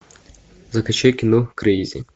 закачай кино крейзи